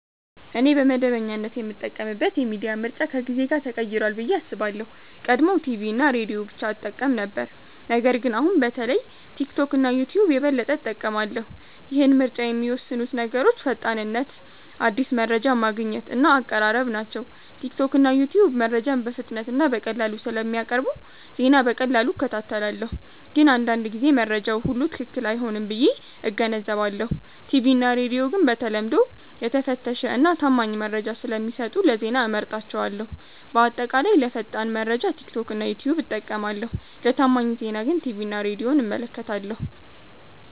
እኔ በመደበኛነት የምጠቀምበት የሚዲያ ምርጫ ከጊዜ ጋር ተቀይሯል ብዬ አስባለሁ። ቀድሞ ቲቪ እና ሬዲዮ ብቻ እጠቀም ነበር ነገር ግን አሁን በተለይ ቲክቶክ እና ዩትዩብ የበለጠ እጠቀማለሁ። ይህን ምርጫ የሚወስኑት ነገሮች ፈጣንነት አዲስ መረጃ ማግኘት እና አቀራረብ ናቸው። ቲክቶክ እና ዩትዩብ መረጃን በፍጥነት እና በቀላሉ ስለሚያቀርቡ ዜና በቀላሉ እከታተላለሁ። ግን አንዳንድ ጊዜ መረጃው ሁሉ ትክክል አይሆንም ብዬ እገነዘባለሁ። ቲቪ እና ሬዲዮ ግን በተለምዶ የተፈተሸ እና ታማኝ መረጃ ስለሚሰጡ ለዜና እመርጣቸዋለሁ። በአጠቃላይ ለፈጣን መረጃ ቲክቶክ እና ዩትዩብ እጠቀማለሁ ለታማኝ ዜና ግን ቲቪ እና ሬዲዮን እመለከታለሁ።